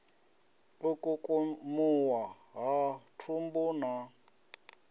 u kukumuwa ha thumbu na